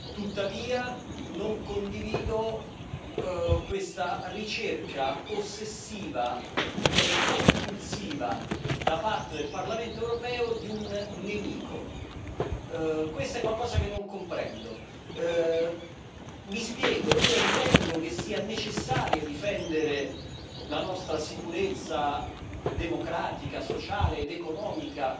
Tuttavia non condivido questa ricerca ossessiva, direi compulsiva, da parte del Parlamento europeo di un nemico. Questo è qualcosa che non comprendo. Mi spiego io ritengo che sia necessario difendere la nostra sicurezza democratica, sociale ed economica